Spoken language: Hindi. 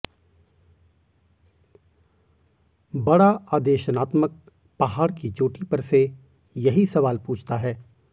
बड़ा आदेशनात्मक पहाड़ की चोटी पर से यही सवाल पूछता है